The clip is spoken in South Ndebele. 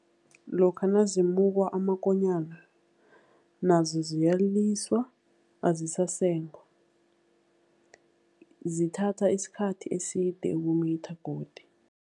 Lokha nazimukwa amakonyana nazo ziyaliswa, azisasengwa. Zithatha isikhathi eside ukumitha godi.